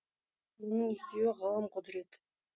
оның екеуі ғылым құдірет